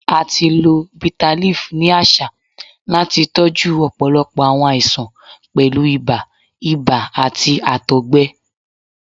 A ti lo bitterleaf ni aṣa lati tọju ọpọlọpọ awọn aisan, pẹlu ibà, ibà, ati àtọgbẹ.